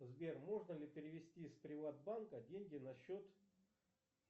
сбер можно ли перевести с приватбанка деньги на счет